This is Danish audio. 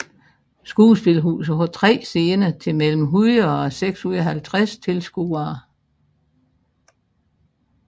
Skuespilhuset har tre scener til mellem 100 og 650 tilskuere